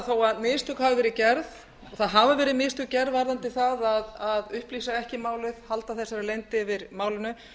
þó að mistök hafi verið gerð og mistök hafa verið gerð varðandi það að upplýsa ekki um málið að halda leynd yfir málinu